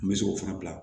N bɛ se k'o fana bila